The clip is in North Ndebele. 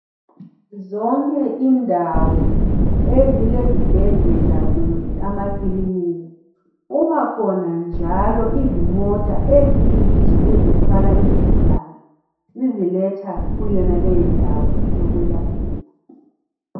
Zonke indawo ezilezibhedlela kumbe amàkilinika kubakhona njalo izimota ezithwala izigulane ziziletha kuyonale ndawo yokwelaphela.